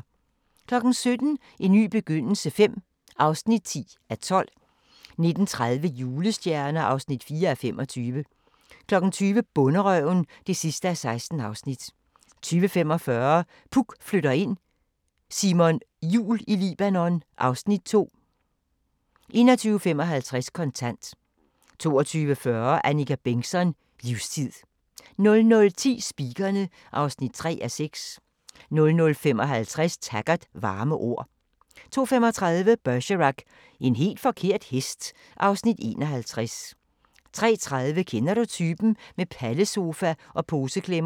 17:00: En ny begyndelse V (10:12) 19:30: Julestjerner (4:25) 20:00: Bonderøven (16:16) 20:45: Puk flytter ind: Simon Jul i Libanon (Afs. 2) 21:55: Kontant 22:40: Annika Bengtzon: Livstid 00:10: Speakerine (3:6) 00:55: Taggart: Varme ord 02:35: Bergerac: En helt forkert hest (Afs. 51) 03:30: Kender du typen? – Med pallesofa og poseklemmer